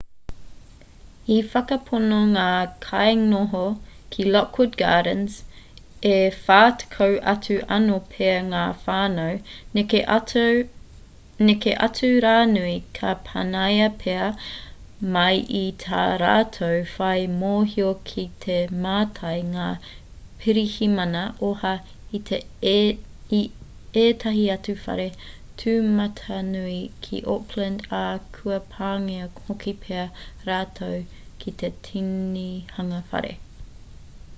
i whakapono ngā kainoho ki lockwood gardens e 40 atu anō pea ngā whānau neke atu rānei ka panaia pea mai i tā rātou whai mōhio kei te mātai ngā pirihimana oha i ētahi atu whare tūmatanui ki oakland ā kua pāngia hoki pea rātou ki te tinihanga whare